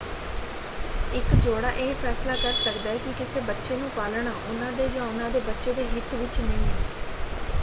ਇੱਕ ਜੋੜਾ ਇਹ ਫੈਸਲਾ ਕਰ ਸਕਦਾ ਹੈ ਕਿ ਕਿਸੇ ਬੱਚੇ ਨੂੰ ਪਾਲਣਾ ਉਹਨਾਂ ਦੇ ਜਾਂ ਉਹਨਾਂ ਦੇ ਬੱਚੇ ਦੇ ਹਿੱਤ ਵਿੱਚ ਨਹੀਂ ਹੈਂ।